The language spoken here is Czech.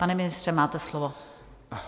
Pane ministře, máte slovo.